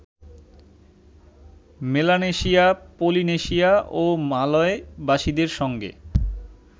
Melanesia, Polynesia ও মালয়বাসীদের সঙ্গে